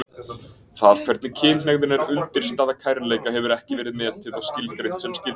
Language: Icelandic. Það hvernig kynhneigðin er undirstaða kærleika hefur ekki verið metið og skilgreint sem skyldi.